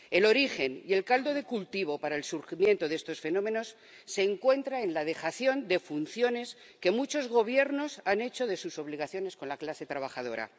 El origen y el caldo de cultivo para el surgimiento de estos fenómenos se encuentra en la dejación de funciones que muchos gobiernos han hecho por lo que respecta a sus obligaciones con la clase trabajadora.